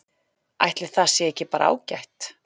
Ætli það sé ekki bara ágætt?